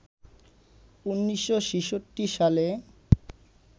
১৯৬৬ সালে